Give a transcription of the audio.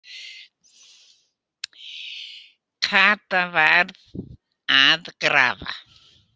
Kata var að grafa.